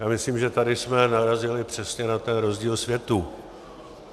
Já myslím, že tady jsme narazili přesně na ten rozdíl světů.